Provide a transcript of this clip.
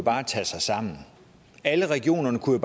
tage sig sammen alle regionerne kunne